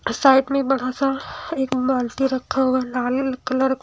side में बड़ा सा एक बाल्टी रखा हुआ है लाल कलर का--